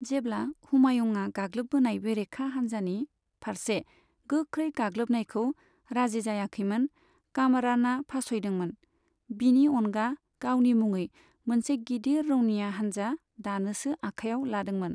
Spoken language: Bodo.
जेब्ला हुमायुंआ गाग्लोब्बोनाय बेरेखा हानजानि फारसे गोख्रै गाग्लोबनायखौ राजि जायाखैमोन कामराना फास'यदोंमोन, बिनि अनगा गावनि मुङै मोनसे गिदिर रौनिया हानजा दानोसो आखायाव लादोंमोन।